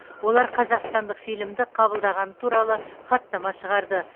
олар қазақстандық фильмді қабылдағаны туралы хаттама шығарды